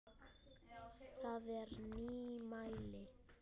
Það er nýmæli.